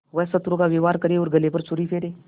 वह शत्रु का व्यवहार करे और गले पर छुरी फेरे